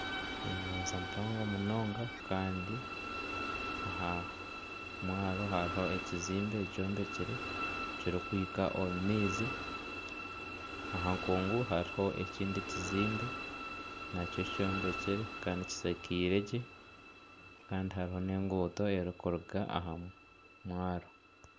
Enyanja mpango munonga kandi aha mwaaro hariho ekizimbe kyombekire kirikuhika omu maizi, aha nkungu hariho ekindi kizimbe nakyo kyombekire kandi kishakairwe gye kandi hariho nana enguuto erikuruga aha mwaaro.